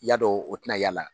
Yadɔn o tɛna y'a la.